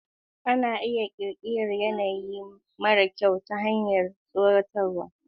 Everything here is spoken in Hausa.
Ana iya ƙirƙirar yanayi mara kyau ta hanyar tsoratar da wasu.